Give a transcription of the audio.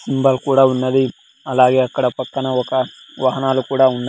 symbol కూడా ఉన్నది అలాగే అక్కడ పక్కన ఒక వాహనాలు కూడా ఉన్నా--